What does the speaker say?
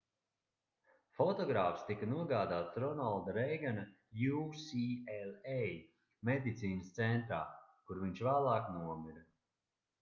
fotogrāfs tika nogādāts ronalda reigana ucla medicīnas centrā kur viņš vēlāk nomira